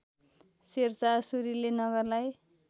शेरशाह सुरीले नगरलाई